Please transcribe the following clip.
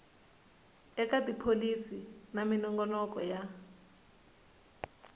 eka tipholisi na minongonoko ya